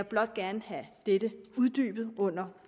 blot gerne have dette uddybet under